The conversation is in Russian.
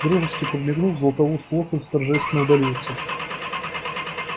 и дружески подмигнув златопуст локонс торжественно удалился